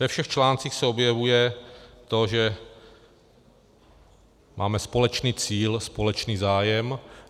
Ve všech článcích se objevuje to, že máme společný cíl, společný zájem.